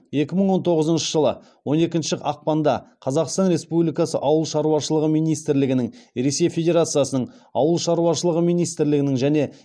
екі мың он тоғызыншы жылы он екінші ақпанда қазақстан республикасы ауыл шаруашылығы министрлігінің ресей федерациясының ауыл шаруашылығы министрлігінің және